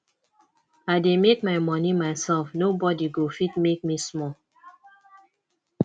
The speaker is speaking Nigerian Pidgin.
i dey make my money myself nobody go fit make me small